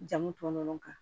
Jamu tɔ nunnu kan